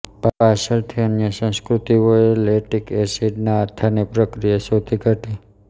પાછળથી અન્ય સંસ્કૃતિઓએ લેક્ટિક એસિડના આથાની પ્રક્રિયા શોધી કાઢી